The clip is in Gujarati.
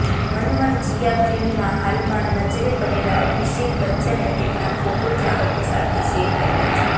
મનમરજિયા ફિલ્મમાં હાલમાં નજરે પડેલા અભિષેક બચ્ચને તેમના ફોટો ચાહકો સાથે શેયર કર્યા છે